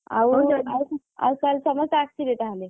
ଆଉ ତାହେଲେ ସମସ୍ତେ ଆସିବେ ତାହେଲେ?